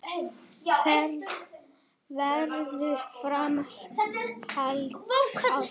Verður framhald á þeim?